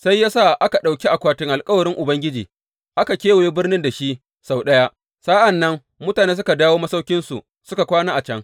Sai ya sa aka ɗauki akwatin alkawarin Ubangiji aka kewaye birnin da shi sau ɗaya, sa’an nan mutane suka dawo masauƙinsu suka kwana a can.